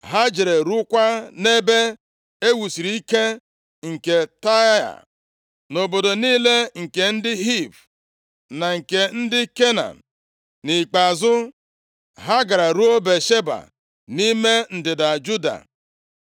Ha jere ruokwa nʼebe e wusiri ike nke Taịa, na obodo niile nke ndị Hiv, + 24:7 Ndị Hiv, na ndị Kenan bụ ndị bi nʼala ahụ tupu ndị Izrel e merie ha nʼagha, chụpụ ha ma bichie ya. na nke ndị Kenan. Nʼikpeazụ, ha gaara ruo Bịasheba nʼime ndịda Juda.